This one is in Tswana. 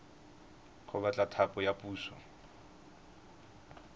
go batla thapo ya puso